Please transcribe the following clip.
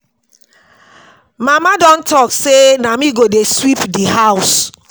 Mama don talk say na me go dey sweep the house